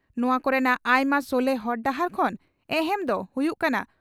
ᱱᱚᱣᱟ ᱠᱚᱨᱮᱱᱟᱜ ᱟᱭᱢᱟ ᱥᱚᱞᱦᱮ ᱦᱚᱨ ᱰᱟᱦᱟᱨ ᱠᱷᱚᱱ ᱮᱦᱮᱢ ᱫᱚ ᱦᱩᱭᱩᱜ ᱠᱟᱱᱟ